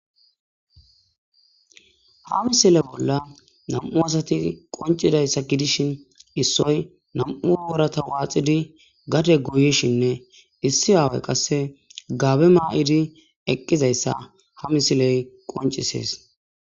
Ha misile bolla nam'u asati qoncidayssa gidishin issoy namu worata waaxidi gade guyishinne issi aawe qasse gaabe maa.idi eqqizayssa ha misiley qoncisees.